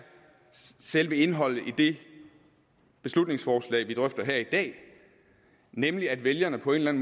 selve indholdet i det beslutningsforslag vi drøfter her i dag nemlig at vælgerne på en